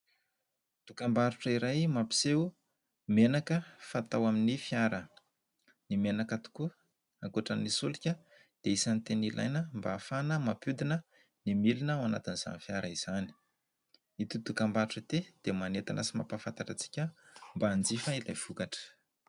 Dokam-barotra iray mampiseho menaka fatao amin'ny fiara, ny menaka tokoa ankoatra ny soloka dia isany teny ilaina mba hafana mampiodina ny milona ao anatiny izany fiara izany, ity dokam-barotra ity dia manetana sy mampafantatra isika mba hanjifa ilay vokatra.